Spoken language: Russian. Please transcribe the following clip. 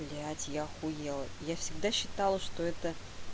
блядь я охуела я всегда считала что это